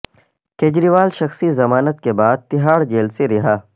کجریوال شخصی ضمانت کے بعد تہاڑ جیل سے رہا